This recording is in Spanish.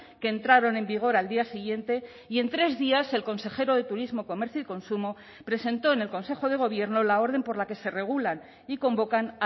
que entraron en vigor al día siguiente y en tres días el consejero de turismo comercio y consumo presentó en el consejo de gobierno la orden por la que se regulan y convocan